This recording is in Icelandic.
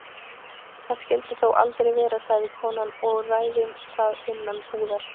Það skyldi þó aldrei vera, sagði konan, og ræðum það innan búðar.